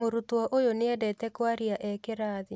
Mũrutwo ũyũ nĩendete kwaria e kĩrathi